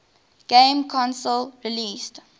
game console released